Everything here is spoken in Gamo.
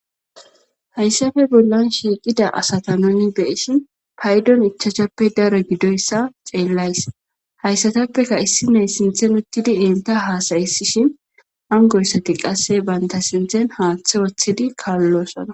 Hayssappe bollan shiiqqida asata nuun beyishin payddon ichchachchppe daro giddoyssa xellayssi hayssatappekka issinoy sinththen uuttidii entta hassayisishin hankoyissikka qase bantta sinththen haaththe woththidii kaalosonna